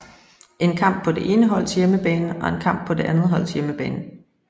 En kamp på det ene holds hjemmebane og en kamp på det andets hold hjemmebane